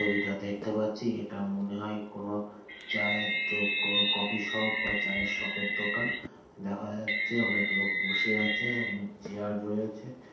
যেটা দেখতে পাচ্ছি এটা মনে হয় কোন চায়ের দো কো কফি শপ বা চায়ের শপ এর দোকান। দেখা যাচ্ছে অনেক লোক বসে আছে। অনেক চেয়ার রয়েছে।